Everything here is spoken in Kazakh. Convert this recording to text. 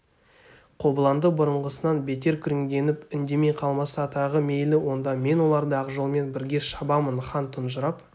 қобыланды бұрынғысынан бетер күреңденіп үндемей қалмаса тағы мейлі онда мен оларды ақжолмен бірге шабамын хан тұнжырап